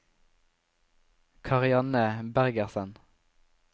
Karianne Bergersen